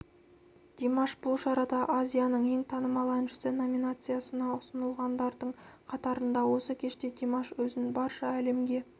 димаш бұл шарада азияның ең танымал әншісі номинациясына ұсынылғандардың қатарында осы кеште димаш өзін барша әлемге